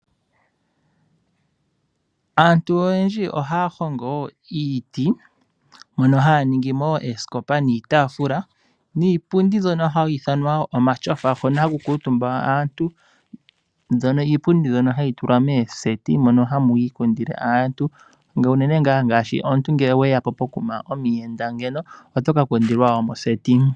Aantu oyendji ohaya hongo wo iiti mono haya ningi mo oosikopa, iitaafula niipundi mbyono hayi ithanwa omatyofa hono haku kuutumba aantu. Iipundi mbyono ohayi tulwa moseti mono hamu kundilwa aantu, unene ngaashi omuyenda oha kundilwa moseti.